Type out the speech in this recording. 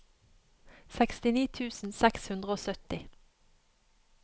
sekstini tusen seks hundre og sytti